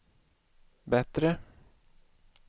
bättre